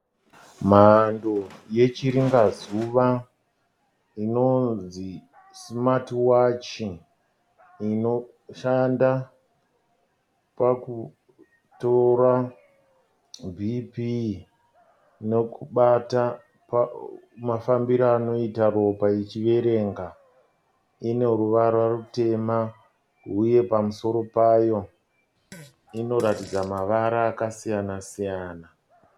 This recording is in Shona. Mhando yechiringazuva inonzi simati wachi. Inoshanda pakutora bhipii nekubata mafambiro anoita ropa ichiverenga. ine ruvara rutema uye pamusoro payo inoratidza mavara akasiyana siyana.